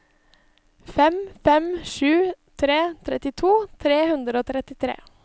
fem fem sju tre trettito tre hundre og trettitre